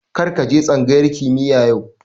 Kar ka je tsangayar kimiya yau